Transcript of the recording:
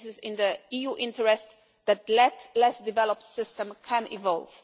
And it is in the EU interest that a less developed system can evolve.